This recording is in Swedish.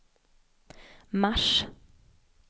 mars